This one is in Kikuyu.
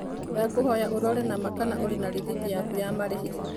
Ndakũhoya ũrore na ma kana ũrĩ na rĩthiti yaku ya marĩhi.